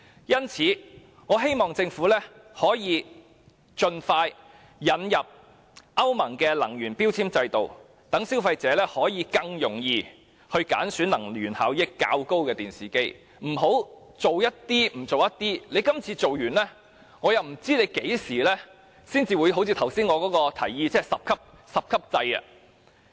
因此，我希望政府可以盡快引入歐盟的能源標籤制度，讓消費者可以更容易揀選能源效益較高的電視機，而不要每次只做一部分，然後不知要到何時才實施我剛才提議的十級制。